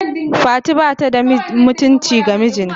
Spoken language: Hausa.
Fati bata da aminci ga mijinta.